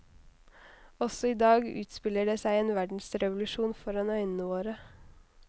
Også i dag utspiller det seg en verdensrevolusjon foran øynene våre.